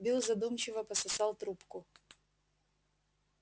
билл задумчиво пососал трубку